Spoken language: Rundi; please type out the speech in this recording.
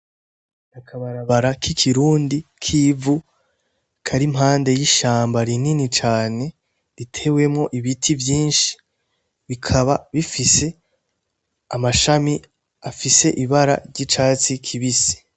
Mukabarabara ki kirundi kivu karimpande y'ishamba rinini cane ritewemo ibiti vyinshi rikaba rifise amashami afise ibara ry'icatsi kibisi.